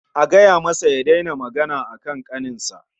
A gaya masa ya daina magana akan ƙaninsa